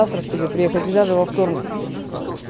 завтра к тебе приехать и даже во вторник